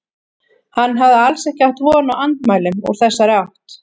Hann hafði alls ekki átt von á andmælum úr þessari átt.